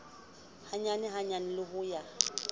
hanyane ka hanyane o a